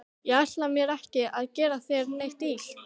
Ég ætlaði mér ekki að gera þér neitt illt.